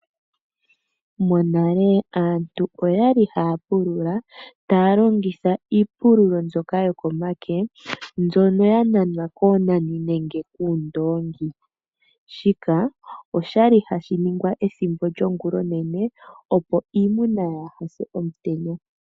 Monale aantu oyali haya pulula taya longitha iipululo mbyoka yokomake mbyono ya nanwa koonani nenge kuundoongi. Shika oshali hashi ningwa ethimbo lyongulonene opo iimuna kaayi se omutenya.